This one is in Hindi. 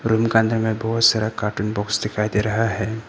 रूम का अंदर मे बहोत सारा कार्टून बॉक्स दिखाई दे रहा है।